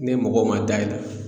Ne mɔgɔ ma da e la